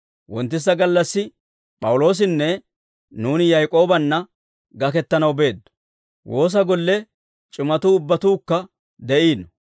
Wonttisa gallassi, P'awuloosinne nuuni Yak'oobanna gakettanaw beeddo. Woosa golle c'imatuu ubbatuukka de'iino.